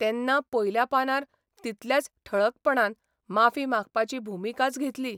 तेन्ना पयल्या पानार तितल्याच ठळकपणान माफी मागपाची भुमिकाच घेतली.